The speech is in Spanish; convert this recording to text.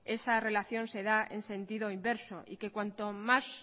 esa relación se da en sentido inverso y que cuanta más